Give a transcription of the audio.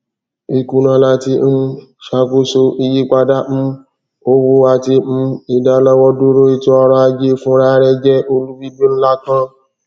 ikuna lati um ṣakoso iyipada um owo ati um idalọwọduro etoọrọ aje funrarẹ jẹ olubibi nla kan